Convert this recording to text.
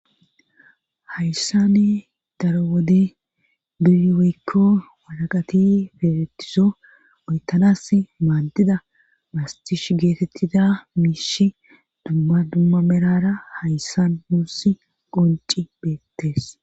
hayssani daro wode biriweykko walaqati feeretiso meytanas maaddida mastish geetettida miishi duma dumma merara hayssan muurs qonci beettees